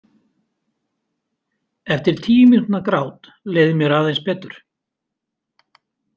Eftir tíu mínútna grát leið mér aðeins betur.